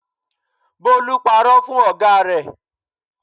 Bólú parọ́ fún ọ̀gá rẹ̀.